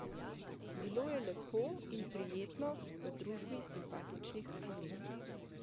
Bilo je lepo in prijetno v družbi simpatičnih Angležev.